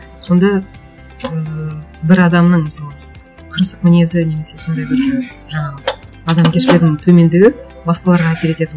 сонда ыыы бір адамның мысалы қырсық мінезі немесе сондай бір і жаңағы адамгершілігінің төмендігі басқаларға әсер ететін